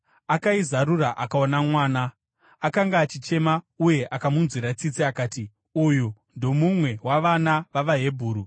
Akaizarura akaona mwana. Akanga achichema, uye akamunzwira tsitsi. Akati, “Uyu ndomumwe wavana vavaHebheru.”